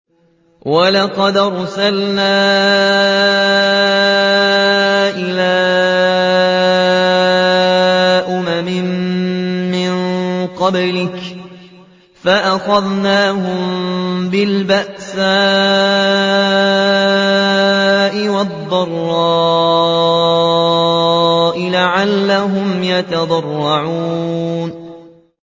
وَلَقَدْ أَرْسَلْنَا إِلَىٰ أُمَمٍ مِّن قَبْلِكَ فَأَخَذْنَاهُم بِالْبَأْسَاءِ وَالضَّرَّاءِ لَعَلَّهُمْ يَتَضَرَّعُونَ